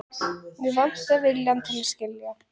Hann vantar viljann til að skilja.